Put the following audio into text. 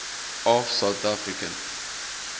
of south african